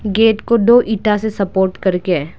Gate को दो ईटा से सपोर्ट करके है।